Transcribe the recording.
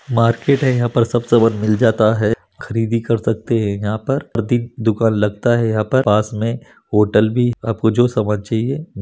market है यहाँ पर सब सामान मिल जाता है खरीदी कर सकते है यहाँ पर अधिक दुकान लगता है यहाँ पर पास मे होटल भी आपको जो सामान चाहिए--